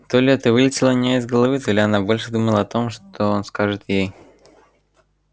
то ли это вылетело у неё из головы то ли она больше думала о том что он скажет ей